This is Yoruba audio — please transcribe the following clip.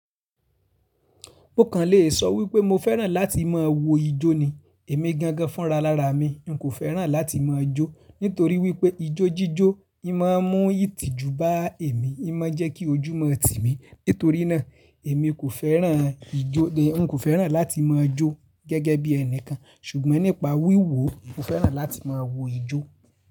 Mo kàn lè sọ wípé mo fẹ́ràn láti máa wo ijó ni. Èmi gan gan fún ralara mi n kò fẹ́ràn láti máa jó, nítorí wípé ijó jíjó, máa ń mú ìtìjú bá èmi, má ń jẹ́ kí ojú mó tì mí. Nítorí náà, èmi kò fẹ́ràn ijó ni n kò fẹ́ràn láti máa jó gẹ́gẹ́ bí ẹnìkan ṣùgbọ́n nípa wíwo mò fẹ́ràn láti máa wo ijó.